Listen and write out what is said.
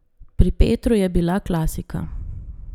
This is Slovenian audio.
Pri Petru je bila klasika.